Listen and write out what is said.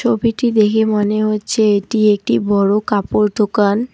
ছবিটি দেহে মনে হচ্ছে এটি একটি বড় কাপড় দোকান।